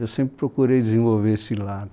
Eu sempre procurei desenvolver esse lado.